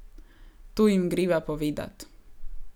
To jim greva povedat.